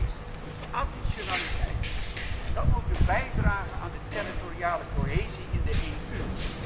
De eerste is additionaliteit, en ook de bijdrage aan de territoriale cohesie in de EU.